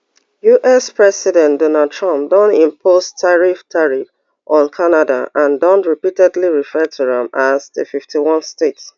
us president donald trump don impose tariffs tariffs on canada and don repeatedly refer to am as di fifty-onest state